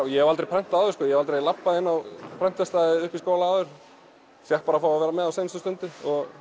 ég hef aldrei prentað áður aldrei labbað inn á upp í skóla áður fékk bara að vera með á síðustu stundu